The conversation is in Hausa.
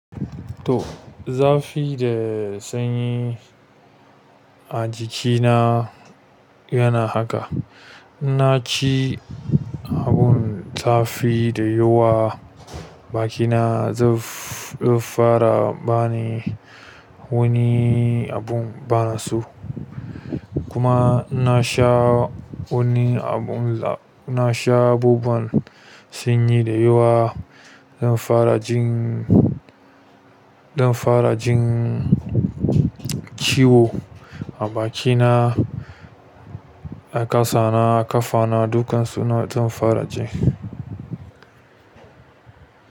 To, zafi da sanyi a jikina yana haka. In na ci abun zafi da yawa, bakina zai fara bani wani abun bana so kuma in na sha wani abun, na sha babban sanyi da yawa. Zan fara jin, zan fara jin ciwo a bakina, a kasana, a ƙafana, dukan su na zan fara ji.